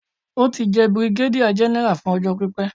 Ó ti jẹ́ bìrìgádíà gẹ́nẹ́rà fún ọjọ́ pípé.